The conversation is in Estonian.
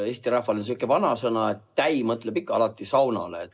Eesti rahval on selline vanasõna, et täi mõtleb ikka alati saunale.